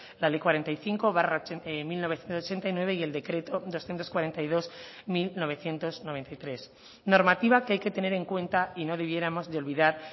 la ley cuarenta y cinco barra mil novecientos ochenta y nueve y el decreto doscientos cuarenta y dos barra mil novecientos noventa y tres normativa que hay que tener en cuenta y no debiéramos olvidar